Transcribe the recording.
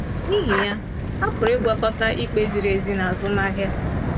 N’ihi ya, a pụrụ ịgwakọta ikpe ziri ezi na azụmahịa.